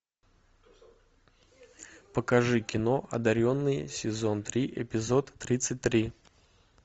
покажи кино одаренные сезон три эпизод тридцать три